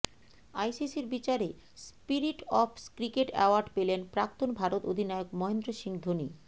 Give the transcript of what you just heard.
আইসিসির বিচারে spirit of cricket award পেলেন প্রাক্তন ভারত অধিনায়ক মহেন্দ্র সিং ধোনি